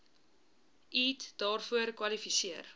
eat daarvoor kwalifiseer